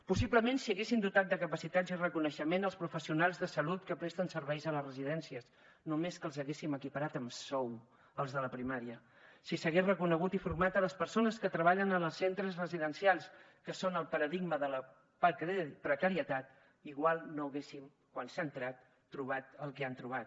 possiblement si haguéssim dotat de capacitats i reconeixement els professionals de salut que presten serveis a les residències només que els haguéssim equiparat amb sou als de la primària si s’haguessin reconegut i format les persones que treballen als centres residencials que són el paradigma de la precarietat igual no haguéssim quan s’hi ha entrat trobat el que han trobat